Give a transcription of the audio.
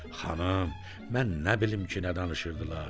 Xanım, mən nə bilim ki, nə danışırdılar.